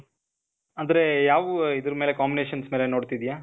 ಅಂದ್ರೆ ಯಾವ್, ಇದ್ರ ಮೇಲೆ combinations ಮೇಲೆ ನೋಡ್ತಿದೀಯ?